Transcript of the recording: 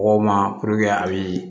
Mɔgɔw ma a bɛ